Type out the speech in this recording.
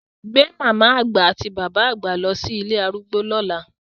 Gbé màmá àgbà àti bàbá àgbà lọ sí ilé arúgbó lọ́la!